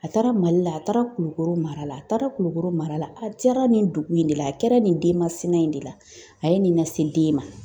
A taara Mali la , a taara Kulukoro mara la, a taara Kulukoro mara la, a diyara nin dugu in de la, a kɛra nin denmasina in de la , a ye nin lase den ma.